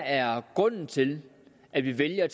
er grunden til at vi vælger at